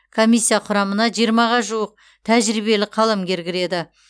комиссия құрамына жиырмаға жуық тәжірибелі қаламгер кіреді